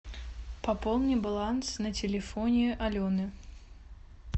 пополни баланс на телефоне алены